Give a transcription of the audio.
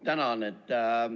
Tänan!